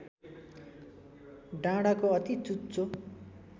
डाँडाको अति चुच्चो